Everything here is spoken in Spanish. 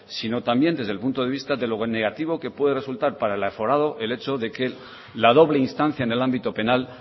sino también desde el punto de vista de lo negativo que puede resultar para el aforado el hecho de que la doble instancia en el ámbito penal